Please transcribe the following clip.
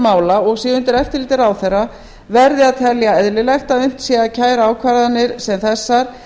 mála og sé undir eftirliti ráðherra verði að telja eðlilegt að unnt sé að kæra ákvarðanir sem þessar